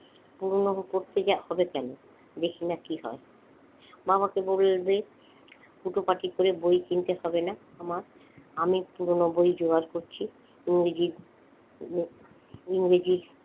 পুরনো হবে কেনো দেখি না কি হয় বাবাকে বলবে হুটোপাটি করে বই কিনতে হবে না আমার আমি পুরনো বই জোগাড় করছি ইংরেজি ইয়ে ইংরেজি,